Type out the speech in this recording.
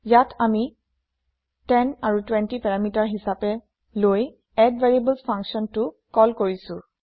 ইয়াত আমি ১০ আৰু ২০ পেৰামিটাৰ হিচাপে লৈ এডভেৰিয়েবলছ ফাংছনটো কল কৰিছো